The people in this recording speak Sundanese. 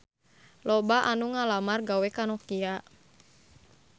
Loba anu ngalamar gawe ka Nokia